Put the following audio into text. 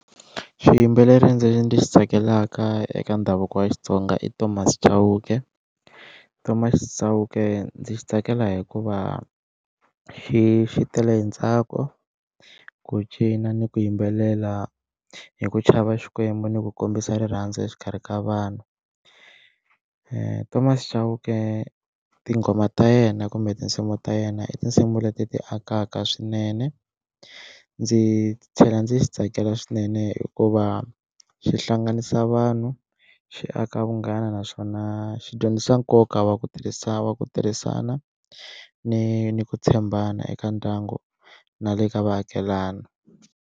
Xiyimbeleri ndzi ndzi xi tsakelaka eka ndhavuko wa Xitsonga i Thomas Chauke, Thomas Chauke ndzi xi tsakela hikuva xi xi tele hi ntsako, ku cina ni ku yimbelela hi ku chava xikwembu ni ku kombisa rirhandzu exikarhi ka vanhu, Thomas Chauke tinghoma ta yena kumbe tinsimu ta yena i tinsimu leti ti akaka swinene ndzi tlhela ndzi xi tsakela swinene hikuva xi hlanganisa vanhu xi aka vunghana naswona xi dyondzisa nkoka wa ku tirhisa wa ku tirhisana ni ni ku tshembana eka ndyangu na le ka vaakelana.